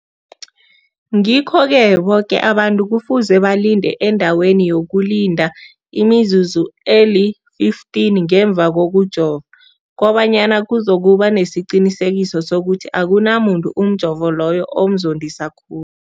Ngikho-ke boke abantu kufuze balinde endaweni yokulinda imizuzu eli-15 ngemva kokujova, koba nyana kuzokuba nesiqiniseko sokuthi akunamuntu umjovo loyo omzondisa khul